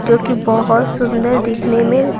जो कि बहुत सुंदर दिखने में--